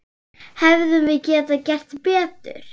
Hefðum við getað gert betur?